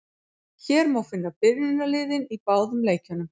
Hér má finna byrjunarliðin í báðum leikjunum.